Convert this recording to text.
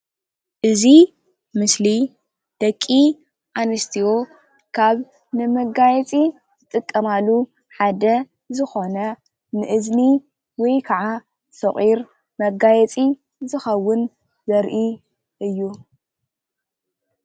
እዚ ምስሊ ደቂ ኣንስትዮ ካብ ንመጋየፂ ዝጥቀማሉ ሓደ ዝኮነ ንእዝኒ ወይ ከዓ ሰቑር መጋየፂ ዝከውን ዘርኢ እዩ፡፡